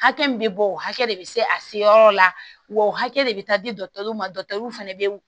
Hakɛ min bɛ bɔ o hakɛ de bɛ se a se yɔrɔ la wa o hakɛ de bɛ taa di ma fɛnɛ bɛ